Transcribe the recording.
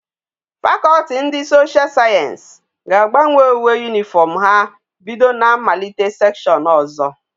Faculty ndi social science ga agbanwe uwe uniform ha bido na mmalite section ozo